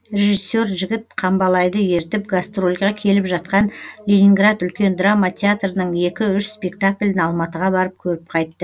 режиссер жігіт қамбалайды ертіп гастрольге келіп жатқан ленинград үлкен драма театрының екі үш спектаклін алматыға барып көріп қайтты